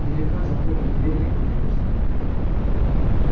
великан захлопнул дверь и выпрямился